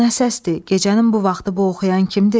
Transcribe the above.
Gecənin bu vaxtı bu oxuyan kimdir?